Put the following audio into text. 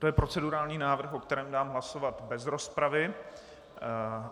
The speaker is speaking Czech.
To je procedurální návrh, o kterém dám hlasovat bez rozpravy.